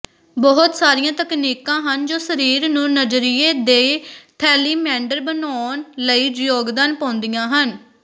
ਬਹੁਤ ਸਾਰੀਆਂ ਤਕਨੀਕਾਂ ਹਨ ਜੋ ਸਰੀਰ ਨੂੰ ਨਜ਼ਰੀਏ ਦੀ ਥੈਲੀਮੈਂਡਰ ਬਣਾਉਣ ਲਈ ਯੋਗਦਾਨ ਪਾਉਂਦੀਆਂ ਹਨ